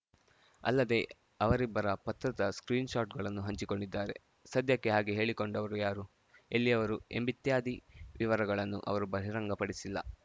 ಅಲ್ಲದೇ ಅವರಿಬ್ಬರ ಪತ್ರದ ಸ್ಕ್ರೀನ್‌ ಶಾಟ್‌ಗಳನ್ನು ಹಂಚಿಕೊಂಡಿದ್ದಾರೆ ಸದ್ಯಕ್ಕೆ ಹಾಗೆ ಹೇಳಿಕೊಂಡವರು ಯಾರು ಎಲ್ಲಿಯವರು ಎಂಬಿತ್ಯಾದಿ ವಿವರಗಳನ್ನು ಅವರು ಬಹಿರಂಗಪಡಿಸಿಲ್ಲ